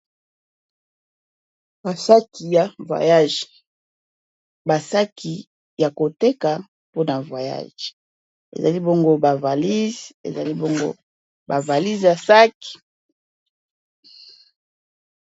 Ba saki ya voyage basaki ya koteka mpona voyage ezali bongo ba valise ezali bongo ba valise ya saki.